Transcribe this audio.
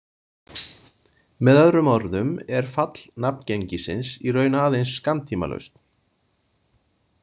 Með öðrum orðum er fall nafngengisins í raun aðeins skammtímalausn.